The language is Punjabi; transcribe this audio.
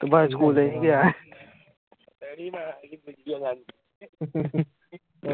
ਤੇ ਬਾਅਦ ਚ ਸਕੂਲੇ ਨਹੀਂ ਗਿਆ